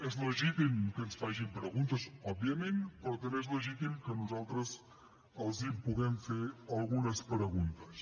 és legítim que ens facin preguntes òbviament però també és legítim que nosaltres els podem fer algunes preguntes